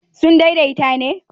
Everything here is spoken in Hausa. sun daidaita ne?